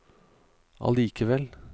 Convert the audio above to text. allikevel